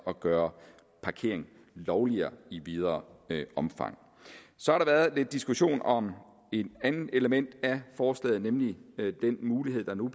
at gøre parkering lovlig i videre omfang så har der været lidt diskussion om et andet element af forslaget nemlig den mulighed der nu